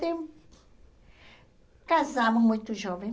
tempo! Casamos muito jovem.